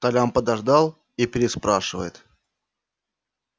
толян подождал и переспрашивает